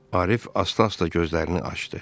Arif asta-asta gözlərini açdı.